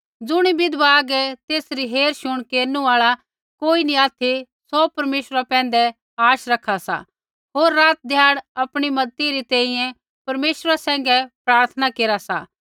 ज़ुणी विधवा हागै तेसरी हेरशुण केरनु आल़ा कोई नी ऑथि सौ परमेश्वरा पैंधै ही आशा रखा सा होर रात ध्याड़ आपणी मज़ती री तैंईंयैं परमेश्वरा सैंघै प्रार्थना केरा सा